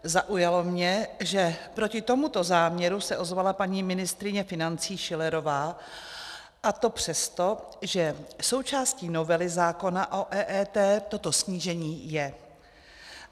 Zaujalo mě, že proti tomuto záměru se ozvala paní ministryně financí Schillerová, a to přesto, že součástí novely zákona o EET toto snížení je.